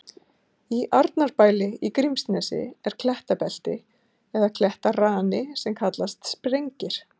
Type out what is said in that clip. Í Arnarbæli í Grímsnesi er klettabelti eða klettarani sem kallast Sprengir.